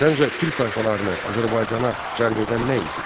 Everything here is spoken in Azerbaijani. Səncə türk tayfalarını Azərbaycana cəlb edən nə idi?